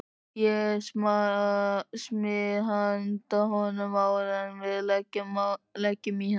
Ég smyr handa honum áður en við leggjum í hann.